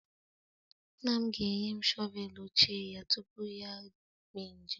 Nna m ga-enye m shọvel ochie ya tupu ya eme njem